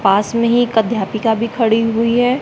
पास मे ही एक अध्यापिका भी खड़ी हुई है।